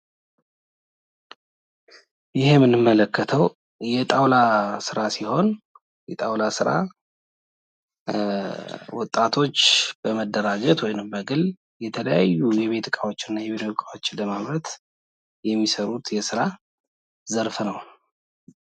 ይኸ የምንመለከተው የጣውላ ስራ ሲሆን የጣውላ ስራ ወጣቶች በመደራጀት ወይም በግል የተለያዩ የቤት እቃዎች እና የቢሮ እቃዎች ለማምረት የሚሰሩት የስራ ዘርፍ ነው።